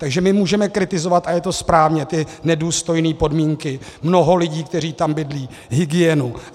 Takže my můžeme kritizovat, a je to správně, ty nedůstojné podmínky, mnoho lidí, kteří tam bydlí, hygienu.